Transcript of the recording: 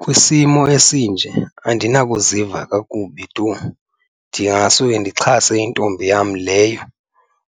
Kwisimo esinje andinakuziva kakubi tu, ndingasuke ndixhase intombi yam leyo